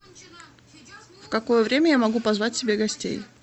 в какое время я могу позвать к себе гостей